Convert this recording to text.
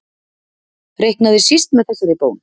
Reiknaði síst með þessari bón.